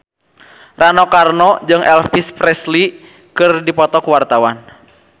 Rano Karno jeung Elvis Presley keur dipoto ku wartawan